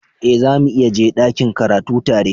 Eh, zamu iya je dakin karatu tare.